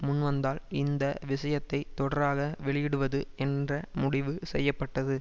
முன்வந்ததால் இந்த விஷயத்தை தொடராக வெளியிடுவது என்று முடிவு செய்ய பட்டது